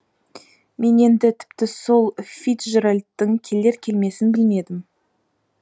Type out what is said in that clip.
мен енді тіпті сол фицджеральдтың келер келмесін білмедім